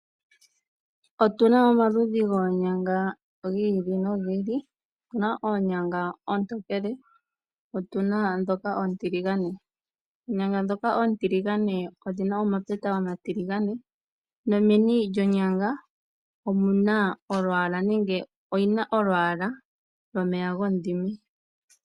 Otuna omaludhi goonyanga gili nogili otuna oonyanga oontokele otuna dhoka oontiligane oonyanga shoka oontiligane odhina omapeta omatiligane nomeni lyonyanga omuna olwaala nenge oyina olwaala lwomeya gomudhime.